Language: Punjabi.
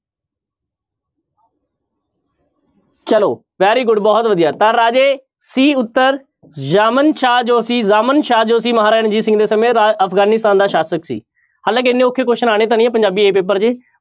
ਚਲੋ very good ਬਹਤੁ ਵਧੀਆ ਤਾਂ ਰਾਜੇ c ਉੱਤਰ ਜਾਮਨ ਸ਼ਾਹ ਜੋ ਸੀ ਜਾਮਨ ਸ਼ਾਹ ਜੋ ਸੀ ਮਹਾਰਾਜ ਰਣਜੀਤ ਸਿੰਘ ਦੇ ਸਮੇਂ ਦਾ ਅਫ਼ਗਾਨਿਸਤਾਨ ਦਾ ਸ਼ਾਸ਼ਕ ਸੀ ਹਾਲਾਂਕਿ ਇੰਨੇ ਔਖੇ question ਆਉਣੇ ਤਾਂ ਨੀ ਹੈ ਪੰਜਾਬੀ a ਪੇਪਰ 'ਚ